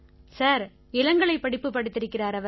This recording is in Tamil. சார் இளங்கலைப் படிப்பு படித்திருக்கிறார் அவர்